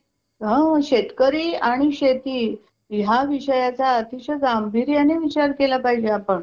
मंग आता बघलं, मी करलं तुला पण ते admission च्या वेळेस call वगैरे. ते loan हा. ते मिळणं गरजेचं आहे अगोदर